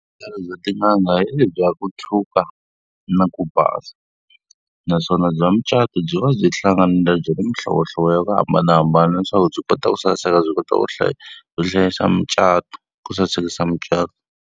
Vuhlalu bya tin'anga i bya ku tshuka na ku basa, naswona bya mucato byi va byi hlanganile byi ri mihlovohlovo ya ku hambanahambana leswaku byi kota ku saseka byi kota ku ku hlayisa mucato ku sasekisa mucato.